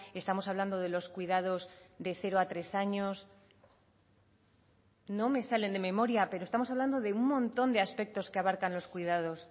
estamos hablando de los cuidados de cero a tres años no me salen de memoria pero estamos hablando de un montón de aspectos que abarcan los cuidados